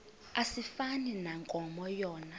asifani nankomo yona